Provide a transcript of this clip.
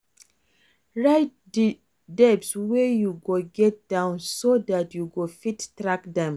Write di debts wey you get down so dat you go fit track dem